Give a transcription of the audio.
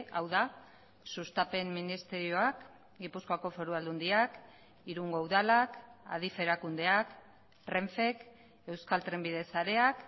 hau da sustapen ministerioak gipuzkoako foru aldundiak irungo udalak adif erakundeak renfek euskal trenbide sareak